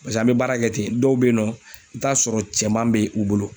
Paseke an be baara kɛ ten dɔw be yen nɔ i be t'a sɔrɔ cɛman be u bolo